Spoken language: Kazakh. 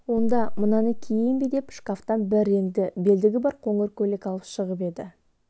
онда мынаны киейін бе деп шкафтан бір реңді белдігі бар қоңыр көйлек алып шығып еді